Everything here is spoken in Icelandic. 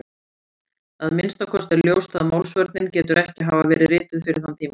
Að minnsta kosti er ljóst að Málsvörnin getur ekki hafa verið rituð fyrir þann tíma.